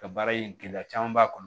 Ka baara in gɛlɛya caman b'a kɔnɔ